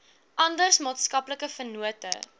ander maatskaplike vennote